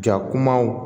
Ja kumaw